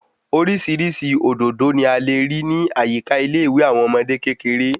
Orísirísi òdòdó ni a lè rí ní àyíká ilé ìwé àwọn ọmọdé kékeré